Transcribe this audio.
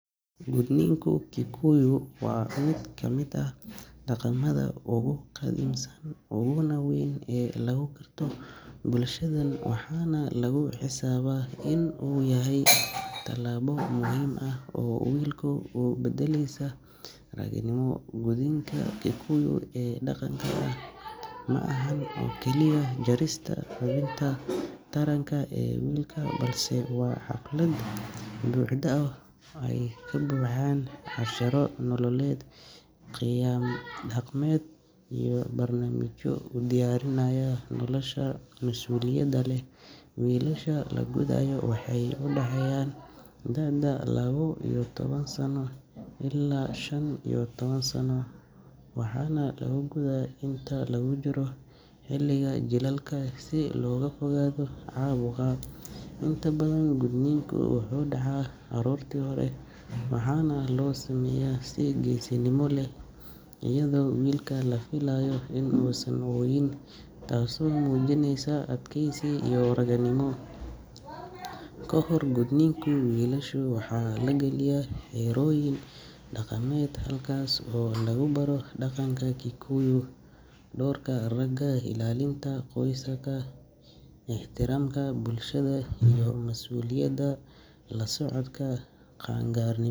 Gudniinka Kikuyu waa mid ka mid ah dhaqamada ugu qadiimisan uguna weyn ee lagu garto bulshadan waxaana lagu xisaabaa in uu yahay tallaabo muhiim ah oo wiilka u beddelaysa ragannimo. Gudniinka Kikuyu ee dhaqanka ah ma ahan oo keliya jarista xubinta taranka ee wiilka, balse waa xaflad buuxda oo ay ka buuxaan casharro nololeed, qiyam dhaqameed iyo barnaamijyo u diyaarinaya nolosha mas’uuliyadda leh. Wiilasha la gudayo waxay u dhexeeyaan da’da laba iyo toban sano ilaa shan iyo toban sano waxaana la gudaa inta lagu jiro xilliga jiilaalka si looga fogaado caabuq. Inta badan gudniinku wuxuu dhacaa aroortii hore waxaana loo sameeyaa si geesinimo leh iyadoo wiilka la filayo inuusan ooyin taasoo muujinaysa adkaysi iyo ragannimo. Ka hor gudniinka, wiilasha waxaa la galiya xerooyin dhaqameed halkaas oo lagu baro dhaqanka Kikuyu, doorka ragga, ilaalinta qoyska, ixtiraamka bulshada iyo mas’uuliyadda la socda qaangaarnimada.